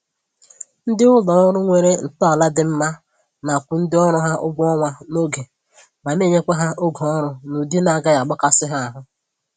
Ndị ụlọ ọrụ nwere ntọala dị mma na-akwụ ndị ọrụ ha ụgwọ ọnwa n'oge ma na-enyekwa ha oge ọrụ n'ụdị na-agaghị akpasị ha ahụ